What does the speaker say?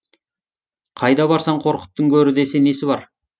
қайда барсаң қорқыттың көрі десе несі бар